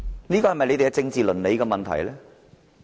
這不是他們的政治倫理嗎？